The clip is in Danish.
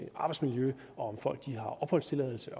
arbejdsmiljø og om folk har opholdstilladelse